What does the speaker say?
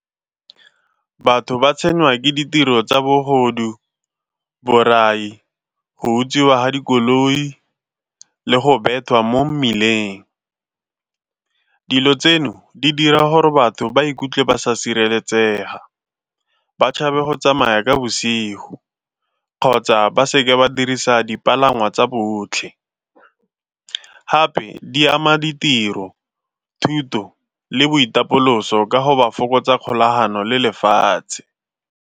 Batho ba tshwengwa ke ditiro tsa bogodu, borai, go utswiwa ga dikoloi le go bewa mo mmileng. Dilo tseno di dira gore batho ba ikutlwe ba sa sireletsega, ba tshabe go tsamaya ka bosigo kgotsa ba seke ba dirisa dipalangwa tsa botlhe. Gape di ama ditiro, thuto le boitapoloso ka go ba fokotsa kgolagano le lefatshe.